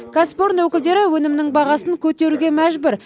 кәсіпорын өкілдері өнімнің бағасын көтеруге мәжбүр